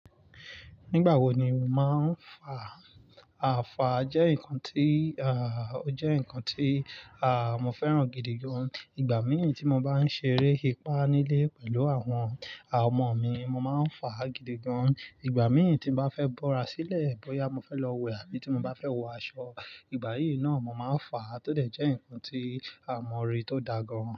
Nígbà wo ni o máa ń fà? Fà jẹ́ nǹkan tí, ó jẹ́ nǹkan tí, mo fẹ́ràn gidi gan. Igba míì tí mo bá ń ṣeré ipá nílé pẹ̀lú àwọn, ọmọ mi mo máa ń fà gidi gan. Igba míì tí mo bá fẹ́ bọ́ra sílẹ̀, bóyá mo fẹ́ lọ wẹ̀ àbí tí mo bá fẹ́ wọ aṣọ, ìgbà yíì náà mo máa ń fà. Ó dẹ̀ jẹ́ nǹkan tí, àmọ́ orí tó da gan.